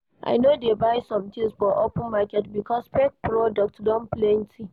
I no dey buy sometins for open market because fake product don plenty.